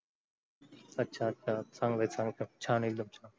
अच्छा अच्छा चांगल चांगल छान आहे एकदम.